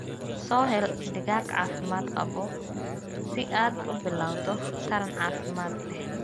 Soo hel digaag caafimaad qaba si aad u bilowdo taran caafimaad leh.